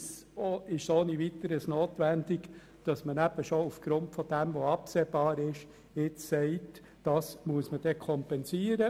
Es ist durchaus notwendig, dass man aufgrund dessen, was absehbar ist, Kompensationen beschliesst.